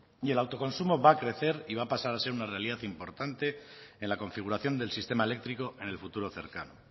y el autoconsumo va a crecer y va a pasar a ser una realidad importante en la configuración del sistema eléctrico en el futuro cercano